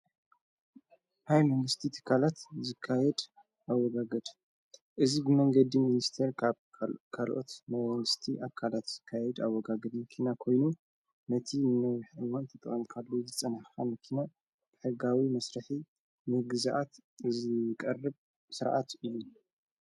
ሃይ መንግሥቲ ተካላት ዝካየድ ኣወጋገድ እዝ መንገዲ ምንስተር ካብ ካልኦት ናንስቲ ኣካላት ዝካየድ ኣወጋግድ ምኪና ኮይኑ ነቲ ነውሕወንተ ጠወንካሉ ዘጸንኻ ምኪና :ተሕጋዊ መሥራሒ ንግዝኣት እዝቐርብ ሥርዓት እዩ::